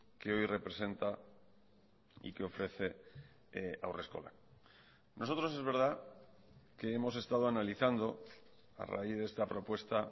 que hoy representa y que ofrece haurreskolak nosotros es verdad que hemos estado analizando a raíz de esta propuesta